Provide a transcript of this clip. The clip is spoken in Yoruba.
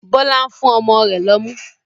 Bọlá ń fún ọmọ rẹ lọ́mú